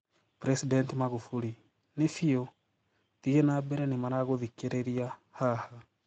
President Magufuli: Nii fiu, thii nambere nimaragũthikireria haha.